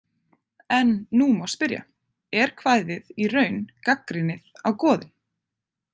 En nú má spyrja: Er kvæðið í raun gagnrýnið á goðin?